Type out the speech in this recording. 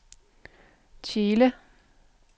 Tjele